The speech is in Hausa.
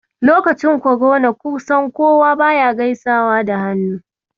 Lokacin korona, kusan kowa baya gaisawa da hannu.